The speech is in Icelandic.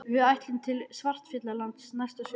Við ætlum til Svartfjallalands næsta sumar.